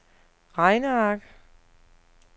regneark